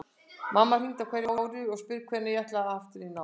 Mamma hringir á hverju ári og spyr hvenær ég ætli aftur í nám.